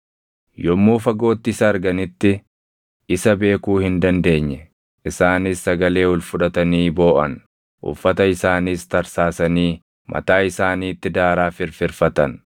Yommuu fagootti isa arganitti isa beekuu hin dandeenye; isaanis sagalee ol fudhatanii booʼan; uffata isaaniis tarsaasanii mataa isaaniitti daaraa firfirfatan.